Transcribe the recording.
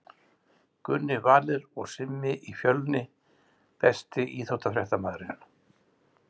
Gunni Valur og Simmi í Fjölni Besti íþróttafréttamaðurinn?